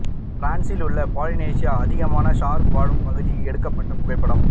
பிரான்ஸில் உள்ள பாலினேஷியா அதிகமான ஷார்க் வாழும் பகுதி எடுக்கப்பட்ட புகைப்படம்